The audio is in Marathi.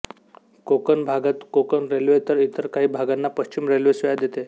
कोकण भागात कोकण रेल्वे तर इतर काही भागांना पश्चिम रेल्वे सेवा देते